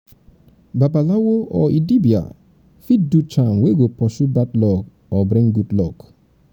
babalawo or dibia fit do charm wey go pursue bad go pursue bad luck or bring good luck